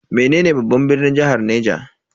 Menene babban birnin jihar Niger?